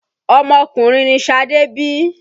Ọmọkùnrin ni Ṣadé bí.